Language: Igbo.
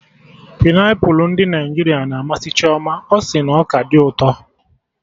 Painiapụlụ ndị Naịjirịa na amasị Chioma, ọ sị na ọ ka dị ụtọ